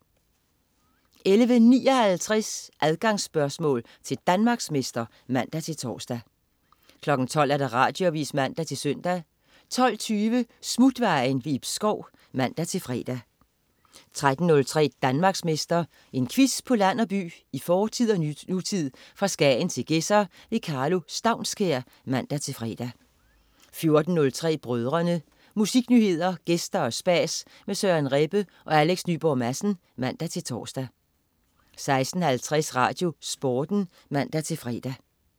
11.59 Adgangsspørgsmål til Danmarksmester (man-tors) 12.00 Radioavis (man-søn) 12.20 Smutvejen. Ib Schou (man-fre) 13.03 Danmarksmester. En quiz på land og by, i fortid og nutid, fra Skagen til Gedser. Karlo Staunskær (man-fre) 14.03 Brødrene. Musiknyheder, gæster og spas med Søren Rebbe og Alex Nyborg Madsen (man-tors) 16.50 RadioSporten (man-fre)